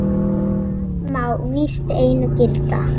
Það má víst einu gilda.